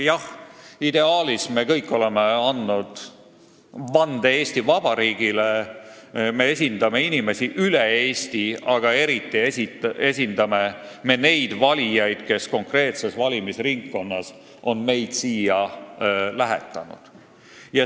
Jah, ideaalist rääkides, me kõik oleme andnud vande Eesti Vabariigile, me esindame inimesi üle Eesti, aga eriti esindame neid valijaid, kes konkreetsest valimisringkonnast on meid siia lähetanud.